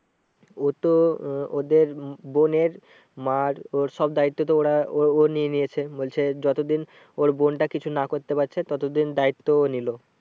ও তো আহ ওদের বোনের মার ওর সব দায়িত্ব তো ওরা ও ও নিয়ে নিয়েছে। বলছে যত দিন ওর বোনটা কিছু না করতে পারছে তত দিন দায়িত্ব ও নিলো।